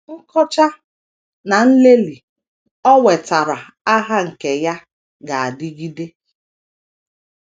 Nkọcha na nlelị o wetaara aha nke ya ga - adịgide.